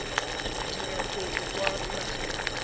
o dira kopo kwa dinageng